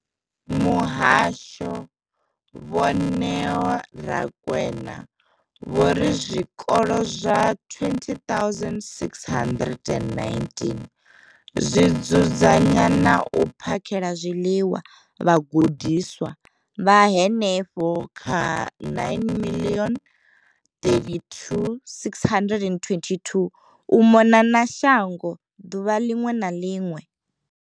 Muhasho, Vho Neo Rakwena, vho ri zwikolo zwa 20 619 zwi dzudzanya na u phakhela zwiḽiwa vhagudiswa vha henefha kha 9 032 622 u mona na shango ḓuvha ḽiṅwe na ḽiṅwe.